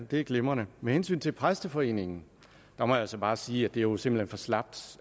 det er glimrende med hensyn til præsteforeningen må jeg altså bare sige at det jo simpelt for slapt